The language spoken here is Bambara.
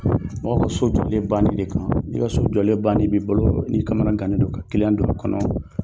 Mɔgɔ ka so jɔ banni de kama n'i ka so jɔlen bannen b'i bilo n'i kamana gannen don ka kiliyan don a kɔnɔ